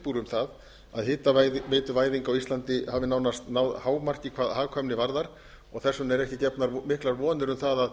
úr um það að hitaveituvæðing á íslandi hafi nánast náð hámarki hvað hagkvæmni varðar og þess vegna eru ekki gefnar miklar vonir um það að